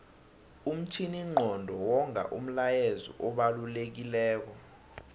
umtjhininqondo wonga umlayezu obalekilelo